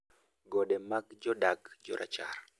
gode mag jodag jarachar